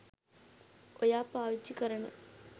ඔයා පාවිච්චි කරන